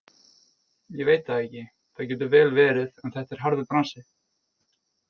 Ég veit það ekki, það getur vel verið en þetta er harður bransi.